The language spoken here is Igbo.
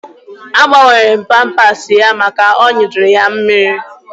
Agbanwere m pampasi ya maka na ọ nyụjuru ya mammiri